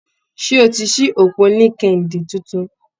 Ṣé o ti ṣí òpó LinkedIn tuntun?